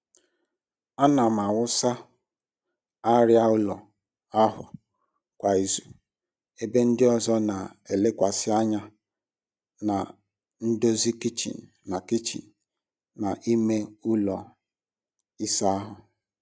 Ana m awụsa arịa ụlọ ahụ kwa izu ebe ndị ọzọ na-elekwasị anya na ndozi kichin na kichin na ime ụlọ ịsa ahụ.